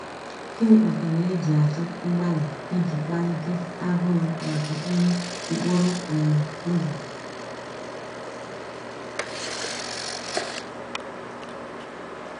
Gịnị kpatara eji achọ mgbalị iji kpalite agụụ maka nri mkpụrụ um obi?